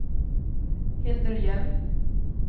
Hildur Hjelm